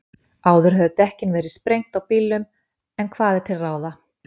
Áður höfðu dekkin verið sprengt á bílnum, en hvað er til ráða?